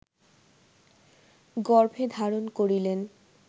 গর্ভে ধারণ করিলেন